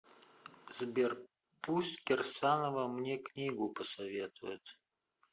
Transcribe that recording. сбер пусть кирсанова мне книгу посоветует